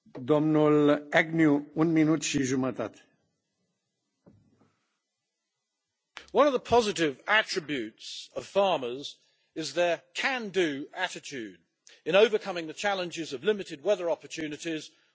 Mr President, one of the positive attributes of farmers is their can do' attitude in overcoming the challenges of limited weather opportunities or emergency machinery repairs.